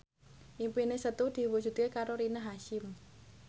impine Setu diwujudke karo Rina Hasyim